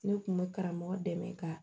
Ne kun bɛ karamɔgɔ dɛmɛ ka